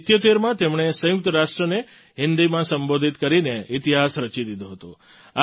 1977માં તેમણે સંયુક્ત રાષ્ટ્રને હિન્દીમાં સંબોધિત કરીને ઇતિહાસ રચી દીધો હતો